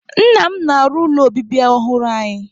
Nna m na-arụ ụlọ obibi ọhụrụ anyị